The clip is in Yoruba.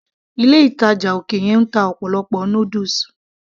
ilé ìtàjà òkè yẹn ń ta ọ̀pọ̀lọpọ̀ noodles